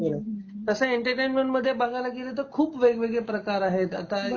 बरोबर आहे, तसं एंटरटेनमेंटमध्ये बघायला गेल तर खूप वेगवेगळे प्रकार आहेत आता